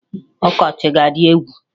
Ọkọchị a adị egwu!